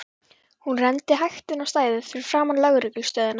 Hún renndi hægt inn á stæðið fyrir framan lögreglu stöðina.